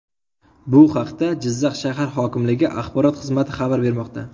Bu haqda Jizzax shahar hokimligi Axborot xizmati xabar bermoqda .